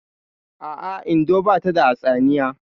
A'a, Indo bata da hatsaniya